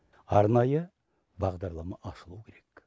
арнайы бағдарлама ашылуы керек